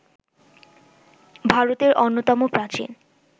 ভারতের অন্যতম প্রাচীন